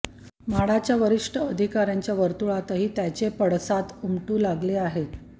म्हाडाच्या वरिष्ठ अधिकाऱ्यांच्या वर्तुळातही त्याचे पडसाद उमटू लागले आहेत